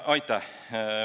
Aitäh!